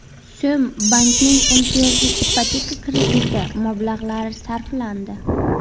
so‘m bankning imtiyozli ipoteka krediti mablag‘lari sarflandi.